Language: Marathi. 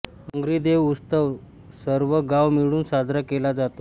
डोंगरीदेव उत्सव सर्व गाव मिळून साजरा केला जातो